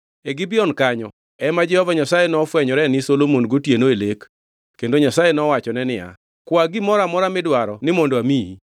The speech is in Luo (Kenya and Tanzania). E Gibeon kanyo ema Jehova Nyasaye nofwenyore ni Solomon gotieno e lek kendo Nyasaye nowachone niya, “Kwa gimoro amora midwaro ni mondo amiyi.”